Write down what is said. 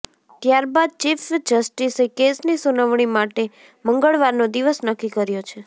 ત્યારબાદ ચીફ જસ્ટિસે કેસની સુનવણી માટે મંગળવારનો દિવસ નક્કી કર્યો છે